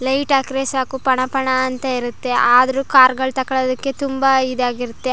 Light ಹಾಕ್ರೆ ಸಾಕು ಪಣ ಪಣ ಅಂತ ಇರುತ್ತೆ ಆದರೂ ಕಾರು ಗಳು ತಗೋಳೋದಿಕ್ಕೆ ತುಂಬಾ ಇದಾಗಿರುತ್ತೆ.